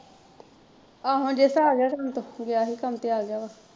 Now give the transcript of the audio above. ਆਹੋ ਜੇਸਾ ਆਗਿਆ ਕੰਮ ਤੋਂ ਗਿਆ ਸੀ ਕੰਮ ਤੇ ਆਗਿਆ ਵਾ।